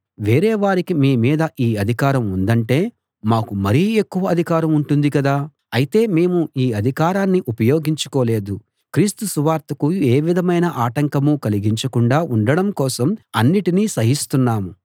వేరే వారికి మీ మీద ఈ అధికారం ఉందంటే మాకు మరి ఎక్కువ అధికారం ఉంటుంది కదా అయితే మేము ఈ అధికారాన్ని ఉపయోగించుకోలేదు క్రీస్తు సువార్తకు ఏ విధమైన ఆటంకమూ కలిగించకుండా ఉండడం కోసం అన్నిటినీ సహిస్తున్నాం